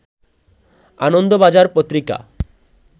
আনন্দ বাজার পত্রিকা